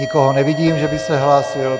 Nikoho nevidím, že by se hlásil.